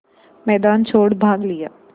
मैदान छोड़ भाग लिया